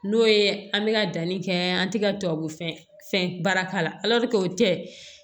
N'o ye an bɛ ka danni kɛ an tɛ ka tubabu fɛn baara k'a la o tɛ